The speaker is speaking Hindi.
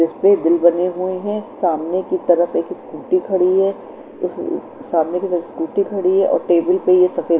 जिसपे दिल बने हुए हैं सामने की तरफ एक स्कूटी हुई है सामने की तरफ स्कूटी हुई है और टेबल की तरफ ये सफेद--